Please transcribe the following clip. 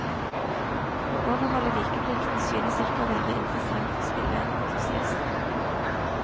Å overholde vikeplikten synes ikke å være interessant for spillentusiaster.